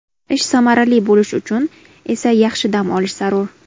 Ish samarali bo‘lishi uchun esa yaxshi dam olish zarur.